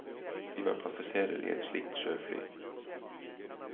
De var passasjerer i et slikt sjøfly.